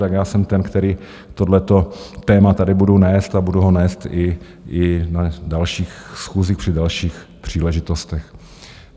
Tak já jsem ten, který tohleto téma tady bude nést a budu ho nést i na dalších schůzích při dalších příležitostech.